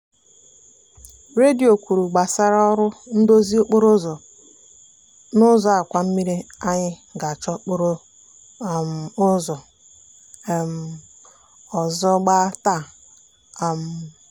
redio kwuru gbasara ọrụ ndozi okporo ụzọ n'ụzọ àkwàmmiri anyị ga-achọ okporo um ụzọ um ọzọ gba taa. um